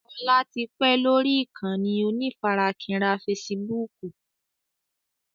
Ọlá tí pẹ́ lórí ìkànnì onífarakínra fésííbùùkù.